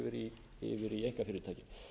ríkisfyrirtækjunum yfir einkafyrirtæki